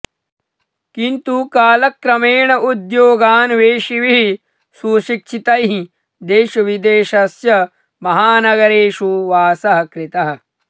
किन्तु कालक्रमेण उद्योगान्वेषिभिः सुशिक्षितैः देशविदेशस्य महानगरेषु वासः कृतः